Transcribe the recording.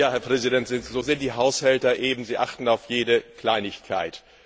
Herr Präsident, so sind die Haushälter eben, sie achten auf jede Kleinigkeit.